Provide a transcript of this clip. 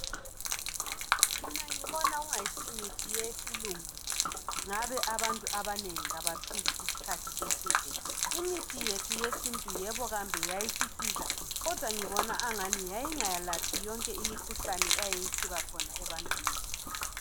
Mina ngibona kungasimithi yesilungu le ngabe abantu abanengi abaphili isikhathi eside. Imithi yethu yesiNtu yebo kambe yayisisiza kodwa ngibona agani yayingalaphi yonke eminye imikhuhlane eyayisiba khona ebantwini.